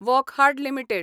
Wockhardt limited